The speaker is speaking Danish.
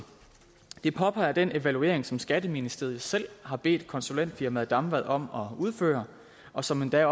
det påpeger den evaluering som skatteministeriet selv har bedt konsulentfirmaet damvad om at udføre og som endda